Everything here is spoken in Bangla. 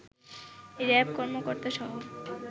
র‌্যাব কর্মকর্তাসহ